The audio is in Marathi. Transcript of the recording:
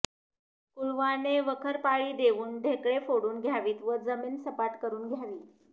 कुळवाने वखरपाळी देऊन ढेकळे फोडून घ्यावीत व जमीन सपाट करून घ्यावी